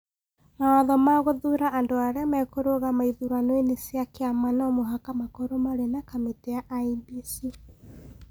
mawatho ma gũthuura andũ arĩa mekũrũgama ithurano-inĩ cia kĩama no mũhaka makorũo marĩ na kamĩtĩ ya IEBC.